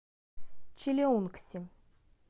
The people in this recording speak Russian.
чилеунгси